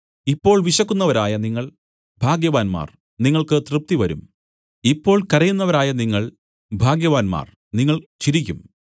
ഇപ്പോൾ വിശക്കുന്നവരായ നിങ്ങൾ ഭാഗ്യവാന്മാർ നിങ്ങൾക്ക് തൃപ്തിവരും ഇപ്പോൾ കരയുന്നവരായ നിങ്ങൾ ഭാഗ്യവാന്മാർ നിങ്ങൾ ചിരിക്കും